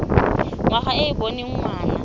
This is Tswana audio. ngwana e e boneng ngwana